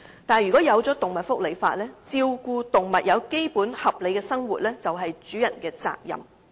不過，如果制定動物福利法例，便可以訂明照顧動物並提供基本合理的生活是主人的責任。